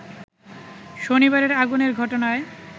শনিবারের আগুনের ঘটনায়